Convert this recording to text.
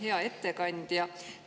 Hea ettekandja!